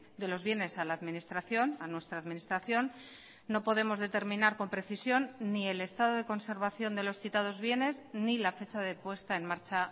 de los bienes a la administración a nuestra administración no podemos determinar con precisión ni el estado de conservación de los citados bienes ni la fecha de puesta en marcha